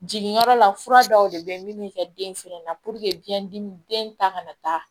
Jiginyɔrɔ la fura dɔw de bɛ yen min bɛ kɛ den fɛnɛ na biɲɛ dimi den ta kana taa